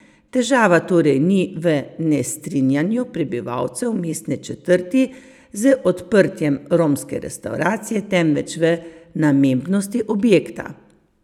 Težava torej ni v nestrinjanju prebivalcev mestne četrti z odprtjem romske restavracije temveč v namembnosti objekta.